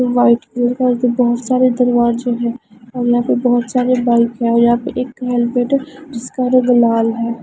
White colour क एक बहोत सारे दरवाज़े है और यहां पे बहुत सारे बाइक है और यहां पे एक हेलमेट है जिसका रंग लाल है।